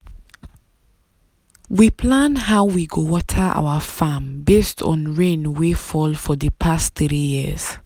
we plan how we go water our farm based on rain wey fall for di past three years.